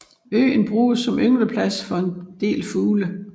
Øen bruges som yngleplads for en del fugle